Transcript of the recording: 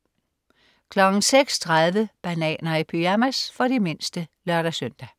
06.30 Bananer i pyjamas. For de mindste (lør-søn)